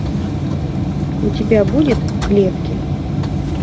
у тебя будет в клетке